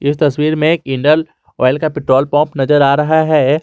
इस तस्वीर में एक इंडियन ऑयल का पेट्रोल पंप नजर आ रहा है।